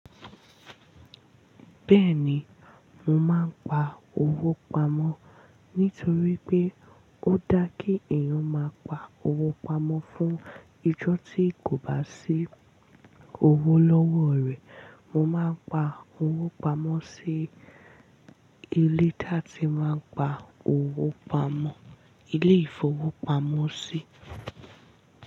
Bẹ́ẹ̀ni, mo máa ń pa owó pamọ́ nítorí pé ó dá kí èèyàn máa pa owó pamọ́ fún ijọ́ tí kò bá sí owó lọ́wọ́ rẹ̀. Mo máa ń pa owó pamọ́ sí ilé tí a ti máa ń pa owó pamọ́, ilé ìfowópamọ́sí.